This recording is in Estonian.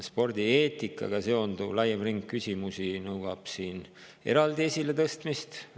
Spordieetikaga seonduv laiem ring küsimusi nõuab eraldi esiletõstmist.